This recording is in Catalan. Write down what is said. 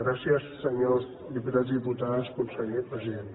gràcies senyors diputats i diputades conseller president